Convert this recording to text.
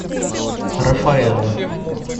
рафаэлло